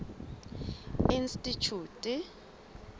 institjhute